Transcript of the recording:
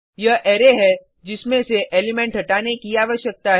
यह अरै है जिसमें से एलिमेंट हटाने की आवश्यकता है